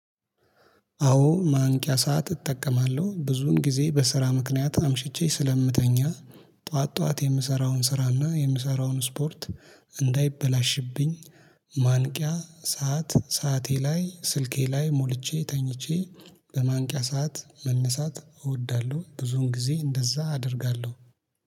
አዎ ማንቂያ ሰዓት እጠቀማለሁ ብዙን ጊዜ በስራ ምክንያት አምሽቼ ስለምተኛ ጠዋት ጠዋት የምሰራውን ስራና የምሰራውን ስፖርት እንዳይበላሽብኝ ማንቂያ ሰዓት ሰዓቴ ላይ ስልኬ ላይ ሞልቼ ተኝቼ በማንቂያ ሰዓት መነሳት እወዳለሁ። ብዙን ጊዜ እንደዛ አደርጋለሁ